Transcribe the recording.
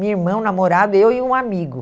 Minha irmã, o namorado, eu e um amigo.